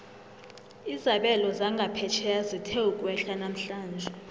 izabelo zangaphetjheya zithe ukwehla namhlanje